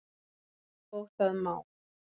Og það má.